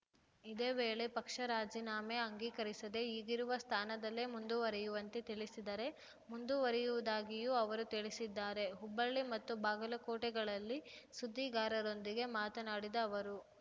ಇದೇ ವೇಳೆ ಪಕ್ಷ ರಾಜೀನಾಮೆ ಅಂಗೀಕರಿಸದೆ ಈಗಿರುವ ಸ್ಥಾನದಲ್ಲೇ ಮುಂದುವರಿಯುವಂತೆ ತಿಳಿಸಿದರೆ ಮುಂದುವರಿಯುವುದಾಗಿಯೂ ಅವರು ತಿಳಿಸಿದ್ದಾರೆ ಹುಬ್ಬಳ್ಳಿ ಮತ್ತು ಬಾಗಲಕೋಟೆಗಳಲ್ಲಿ ಸುದ್ದಿಗಾರರೊಂದಿಗೆ ಮಾತನಾಡಿದ ಅವರು